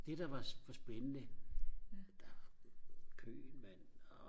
det der var spændende der var kø mand og